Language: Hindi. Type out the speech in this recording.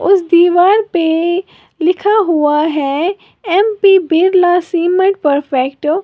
उस दीवार पे लिखा हुआ है एम_पी बिरला सीमेंट परफेक्ट ।